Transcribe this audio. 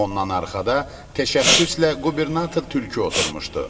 Ondan arxada təşəxxüslə qubernator tülkü oturmuşdu.